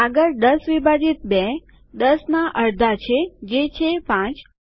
આગળ ૧૦ વિભાજિત ૨ ૧૦ ના અડધા છે જે છે ૫